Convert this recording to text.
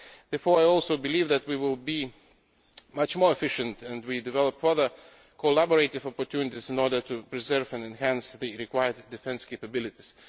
Therefore I also believe that we will be much more efficient if we develop further collaborative opportunities in order to preserve and enhance the required defence capabilities.